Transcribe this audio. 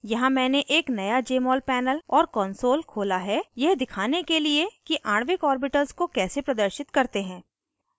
यहाँ मैंने एक नया jmol panel और console खोला है यह दिखाने के लिए कि आणविक ऑर्बिटल्स को कैसे प्रदर्शित करते हैं